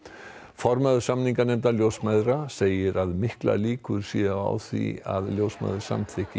formaður samninganefndar ljósmæðra segir að miklar líkur séu á því að ljósmæður samþykki